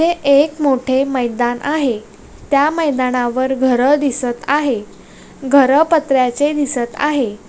हे एक मोठे मैदान आहे त्या मैदानावर घर दिसत आहे घर पत्र्याचे दिसत आहे.